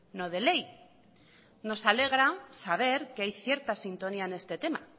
no de ley nos alegra saber que hay cierta sintonía en este tema